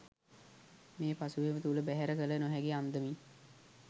මේ පසුබිම තුළ බැහැර කළ නොහැකි අන්දමින්